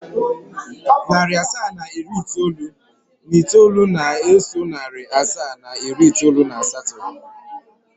Narị asaa na iri itoolu na itoolu na-eso narị asaa na iri itoolu na asatọ.